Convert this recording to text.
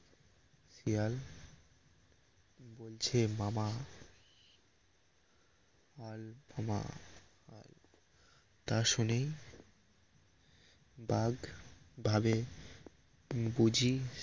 শিয়াল বলছে মামা তা শুনেই বাঘ ভাবে বুঝি